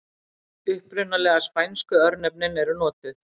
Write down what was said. Upprunalegu spænsku örnefnin eru notuð.